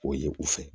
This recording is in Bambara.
O ye u fɛ